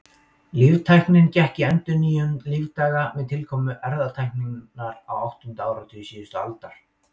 Líftæknin gekk í endurnýjun lífdaga með tilkomu erfðatækninnar á áttunda áratugi síðustu aldar.